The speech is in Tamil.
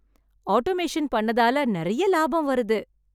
ஆட்டோமேஷன் பண்ணதால நெறய லாபம் வருது.